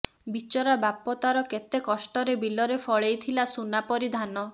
ବିଚରା ବାପ ତାର କେତେ କଷ୍ଟରେ ବିଲରେ ଫଳେଇ ଥିଲା ସୁନା ପରି ଧାନ